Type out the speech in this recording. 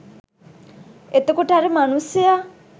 එතකොට අර මනුස්සයා